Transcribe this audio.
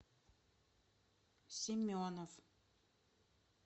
семенов